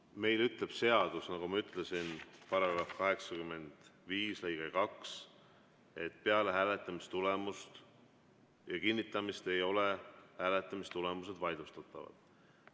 Meil ütleb seadus, nagu ma ütlesin, § 85 lõige 2, et peale hääletamistulemuste kinnitamist ei ole hääletamistulemused vaidlustatavad.